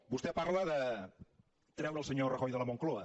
vostè parla de treure el senyor rajoy de la moncloa